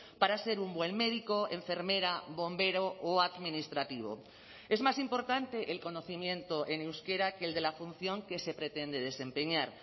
para ser un buen médico enfermera bombero o administrativo es más importante el conocimiento en euskera que el de la función que se pretende desempeñar